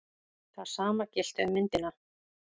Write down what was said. Það sama gilti um myndina.